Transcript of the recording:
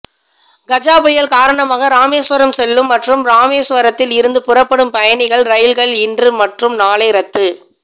கஜ புயல் காரணமாக ராமேஸ்வரம் செல்லும் மற்றும் ராமேஸ்வரத்தில் இருந்து புறப்படும் பயணிகள் ரயில்கள் இன்று மற்றும் நாளை ரத்து